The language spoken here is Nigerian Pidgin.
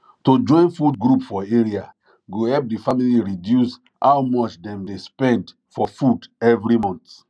to join food group for area go help the family reduce how much dem dey spend for food every month